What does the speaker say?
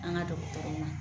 An ga dɔgɔtɔrɔw ma